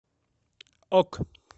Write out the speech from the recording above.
ок